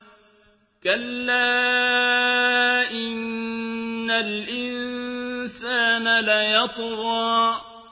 كَلَّا إِنَّ الْإِنسَانَ لَيَطْغَىٰ